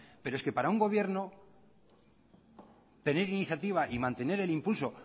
pero es que para un gobierno tener iniciativa y mantener el impulso